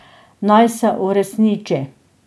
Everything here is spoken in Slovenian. Naj se uresniči.